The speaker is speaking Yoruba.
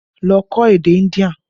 Lọ kọ́ èdè India!